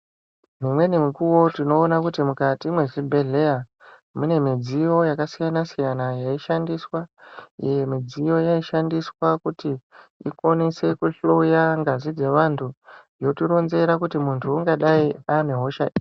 Imweni mikuwo tinoona kuti mukati mezvibhedhlera mune midziyo yakasiyana siyana yaishandiswa. Iyi midziyo yaishandiswa kuti ikwanise kuhloye ngazi dzevantu yoti ronzera kuti muntu ungadai ane hosha iri.